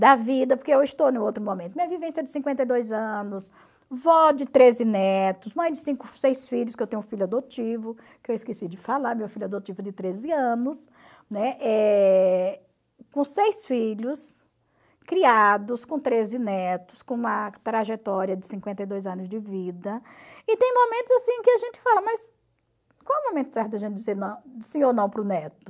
da vida, porque eu estou no outro momento, minha vivência de cinquenta e dois anos, vó de treze netos, mãe de cinco seis filhos, que eu tenho um filho adotivo, que eu esqueci de falar, meu filho adotivo de treze anos, né, eh com seis filhos, criados, com treze netos, com uma trajetória de cinquenta e dois anos de vida, e tem momentos assim que a gente fala, mas qual é o momento certo da gente dizer não sim ou não para o neto?